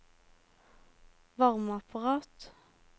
varmeapparat